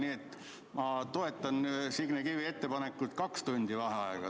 Nii et ma toetan Signe Kivi ettepanekut võtta kaks tundi vaheaega.